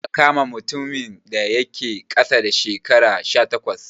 Ba'a kama mutumin da yake ƙasa da shekara sha takwas